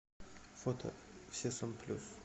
фото все сам плюс